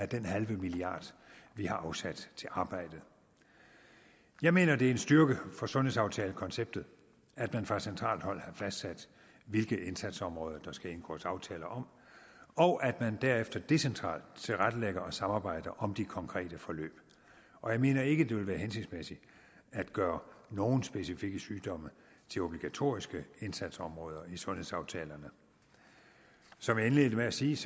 den halve milliard vi har afsat til arbejdet jeg mener det er en styrke for sundhedsaftalekonceptet at man fra centralt hold har fastsat hvilke indsatsområder der skal indgås aftaler om og at man derefter decentralt tilrettelægger og samarbejder om de konkrete forløb og jeg mener ikke det vil være hensigtsmæssigt at gøre nogen specifikke sygdomme til obligatoriske indsatsområder i sundhedsaftalerne som jeg indledte med at sige